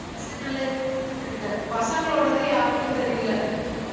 தெரியலே பசங்களோடது யாருதும் தெரியலே